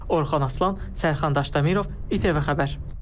Orxan Aslan, Sərxan Daşdəmirov, ITV xəbər.